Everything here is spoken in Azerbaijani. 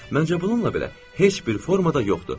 Məncə bununla belə heç bir formada yoxdur.